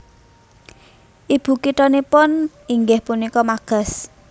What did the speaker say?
Ibu kithanipun inggih punika Magas